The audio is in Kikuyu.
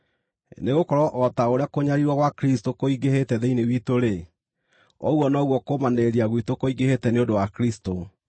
Nĩgũkorwo o ta ũrĩa kũnyariirwo gwa Kristũ kũingĩhĩte thĩinĩ witũ-rĩ, ũguo noguo kũũmanĩrĩria gwitũ kũingĩhĩte nĩ ũndũ wa Kristũ.